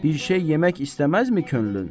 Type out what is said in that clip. Bir şey yemək istəməzmi könlün?